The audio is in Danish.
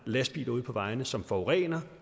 lastbiler ude på vejene som forurener